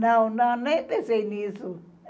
Não, não, nem pensei nisso.